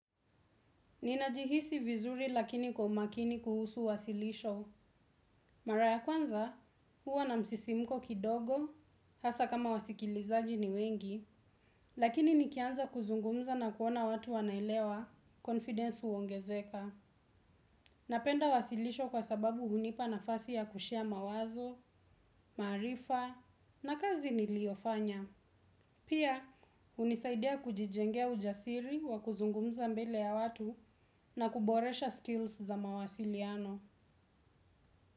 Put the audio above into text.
Ninajihisi vizuri lakini kwa umakini kuhusu wasilisho. Mara ya kwanza, huwa na msisimuko kidogo, hasa kama wasikilizaji ni wengi, lakini nikianza kuzungumza na kuona watu wanaelewa, confidence huongezeka. Napenda wasilisho kwa sababu hunipa na fasi ya kushare mawazo, maarifa na kazi niliofanya. Pia, hunisaidia kujijengea ujasiri wa kuzungumza mbele ya watu na kuboresha skills za mawasiliano.